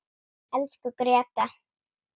Elsku Gréta.